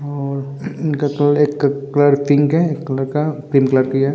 और इनका कलर एक कलर पिंक है एक कलर का पिंक कलर की है ।